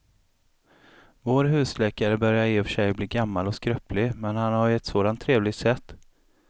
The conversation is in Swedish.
Vår husläkare börjar i och för sig bli gammal och skröplig, men han har ju ett sådant trevligt sätt!